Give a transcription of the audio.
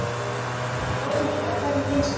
Óli: Og hvernig finnst þér?